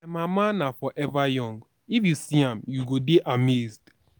my mama na forever young if you see am you go dey amazed